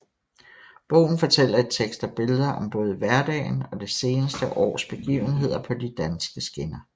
Bogen fortæller i tekst og billeder om både hverdagen og det seneste års begivenheder på de danske skinner